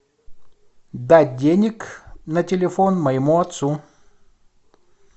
дать денег на телефон моему отцу